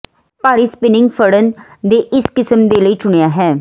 ਭਾਰੀ ਸਪਿਨਿੰਗ ਫੜਨ ਦੇ ਇਸ ਕਿਸਮ ਦੇ ਲਈ ਚੁਣਿਆ ਹੈ